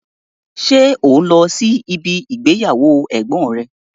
Ṣé o n lọ́ sí ibi ìgbéyàwó ẹ̀gbọ́n rẹ?